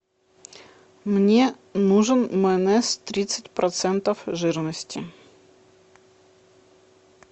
мне нужен майонез тридцать процентов жирности